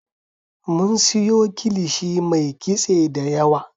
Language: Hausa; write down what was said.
Mun siyo kilishi mai kitse da yawa